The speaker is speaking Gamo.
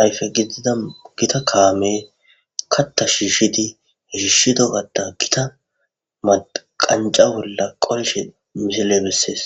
ayfe gidida gita kaamey katta shiishidi,shiishido katta gita qancca bolla qolishe misiley besees.